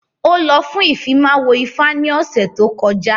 Ó lọ fún Ìfimáwo ifá ní ọ̀sẹ̀ tó kọjá